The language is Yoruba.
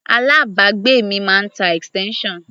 Alábàágbé mi máa ń tá extension.